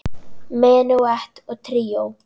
Menúett og tríó